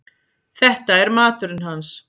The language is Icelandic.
Þetta er maturinn hans.